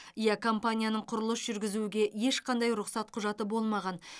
иә компанияның құрылыс жүргізуге ешқандай рұқсат құжаты болмаған